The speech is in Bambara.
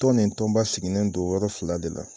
Tɔn nin tɔnba sigilen don yɔrɔ fila de la.